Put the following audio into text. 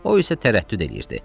O isə tərəddüd eləyirdi.